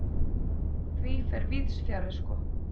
Því fer víðs fjarri sko.